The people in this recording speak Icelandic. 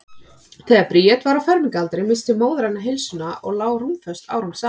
Þegar Bríet var á fermingaraldri missti móðir hennar heilsuna og lá rúmföst árum saman.